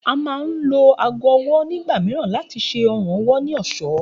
A máa ń lo aago o̩wó̩ nígbà mìíràn láti s̩e o̩rùn owó̩ ní ò̩só̩